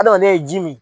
Adamaden ye ji min